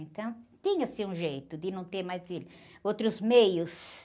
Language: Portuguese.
Então, tinha-se um jeito de não ter mais filho, outros meios.